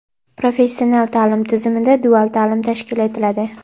Professional taʼlim tizimida dual taʼlim tashkil etiladi.